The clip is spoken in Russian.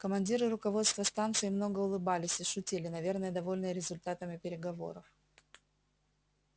командир и руководство станции много улыбались и шутили наверное довольные результатами переговоров